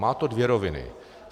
Má to dvě roviny.